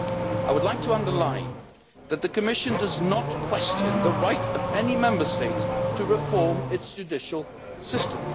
I would like to underline that the Commission does not question the right of any Member State to reform its judicial system.